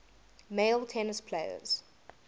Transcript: male tennis players